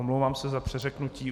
Omlouvám se za přeřeknutí.